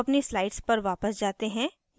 अब अपनी slides पर वापस जाते हैं